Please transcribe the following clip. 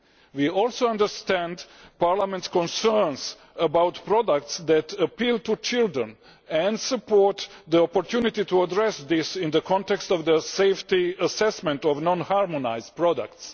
We also understand Parliament's concerns about products that appeal to children, and we support the opportunity to address this in the context of the safety assessment of non harmonised products.